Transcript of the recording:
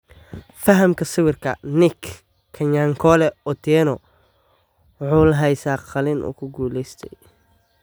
Fahamka sawirka, Nick 'Kanyankole" Otieno wuxuu la haysaa qalliin uu ku guuleystay.